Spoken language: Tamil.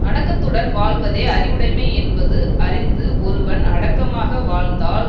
அடக்கத்துடன் வாழ்வதே அறிவுடைமை என்பது அறிந்து ஒருவன் அடக்கமாக வாழ்ந்தால்